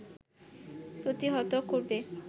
প্রতিহত করবে